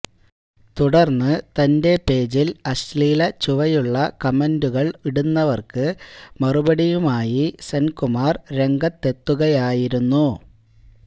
തുടർന്ന് തൻ്റെ പേജിൽ അശ്ലീലച്ചുവയുള്ള കമൻ്റുകൾ ഉടുന്നവർക്ക് മറുപടിയുമായി സെൻകുമാർ രംഗത്തെത്തുകയായിരുന്നു